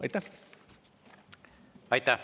Aitäh!